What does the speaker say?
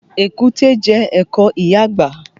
Èkúté jẹ ẹ̀kọ ìyá àgbà